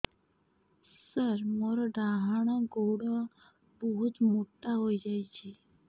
ସାର ମୋର ଡାହାଣ ଗୋଡୋ ବହୁତ ମୋଟା ହେଇଯାଇଛି